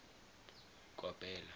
kopela